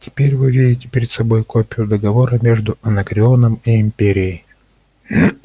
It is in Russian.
теперь вы видите перед собой копию договора между анакреоном и империей